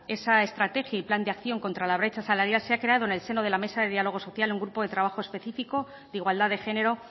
esa estrategia y plan de acción contra la brecha salarial se ha creado en el seno de la mesa de dialogo social un grupo de trabajo específico de igualdad de género